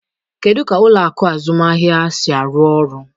Kedu ka ụlọ akụ azụmaahịa si arụ ọrụ?